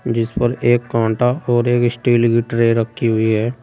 जिसपर एक कांटा और एक स्टील की ट्रे रखी हुई है।